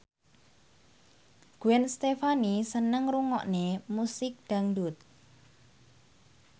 Gwen Stefani seneng ngrungokne musik dangdut